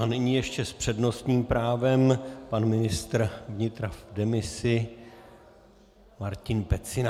A nyní ještě s přednostním právem pan ministr vnitra v demisi Martin Pecina.